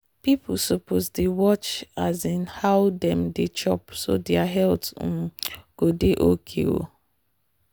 people suppose dey watch um how dem dey chop so their health um go dey okay. um